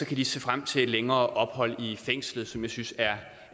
kan de se frem til et længere fængselsophold synes er